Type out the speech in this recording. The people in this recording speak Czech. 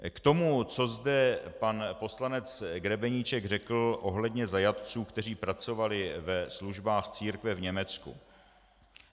K tomu, co zde pan poslanec Grebeníček řekl ohledně zajatců, kteří pracovali ve službách církve v Německu.